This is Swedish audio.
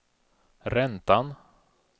räntan